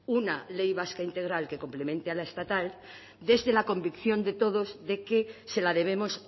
una ley vasca integral que complemente a la estatal desde la convicción de todos de que se la debemos